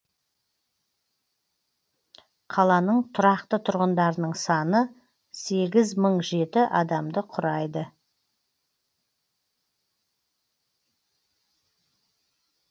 қаланың тұрақты тұрғындарының саны сегіз мың жеті адамды құрайды